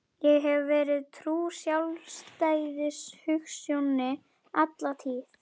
Ég hef verið trúr sjálfstæðishugsjóninni alla tíð.